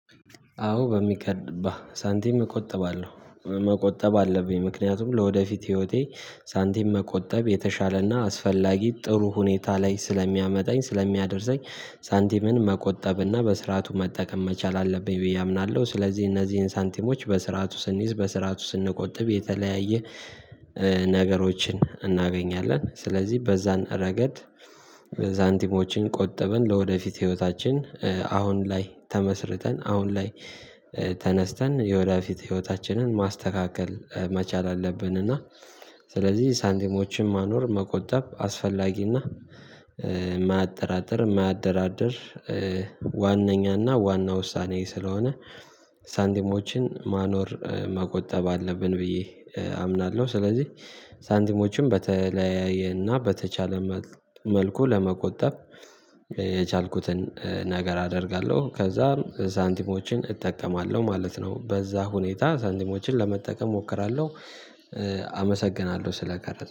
አዎ በሚገባ ሳንቲም እቆጥባለሁ መቆጠብ አለብኝ ምክንያቱም ለወደፊት ህይወቴ ሳንቲም መቆጠብ የተሻለና አስፈላጊ ጥሩ ሁኔታ ላይ ስለሚያመጣኝ ስለሚያደርሰኝ ሳንቲምን መቆጠብና በስርዓቱ መጠቀም መቻል አለብኝ ብዬ አምናለሁ። ስለዚህ እነዚህን ሳንቲሞች በስርዓቱ ስንይዝ በስርዓቱ ስንቆጥብ የተለያየ ነገሮችን እናገኛለን። ስለዚህ በዛን ረገድ ሳንቲሞችን ቆጠበን ለወደፊት ህይወታችን አሁን ላይ ተመስርተን አሁን ላይ ተነስተን የወደፊት ህይወታችንን ማስተካከል መቻል አለብን። እና ስለዚህ ሳንቲሞችን ማኖር መቆጠብ አስፈላጊና የማያጠራጥር የማያደራድር ዋነኛ ዋና ውሳኔ ስለሆነ ሳንቲሞችን ማኖር መቆጠብ አለብን ብዬ አምናለሁ። ስለዚህ ሳንቲሞችን በተለያየ እና በተቻለ መልኩ ለመቆጠብ የቻልኩትን ነገር አደርጋለሁ ከዛም ሳንቲሞችን እጠቀማለሁ ማለት ነው። በዛ ሁኔታ ሳንቲሞችን ለመጠቀም እሞክራለሁ። አመሰግናለሁ ስለቀረጸ